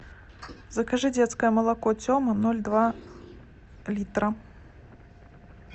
закажи детское молоко тема ноль два литра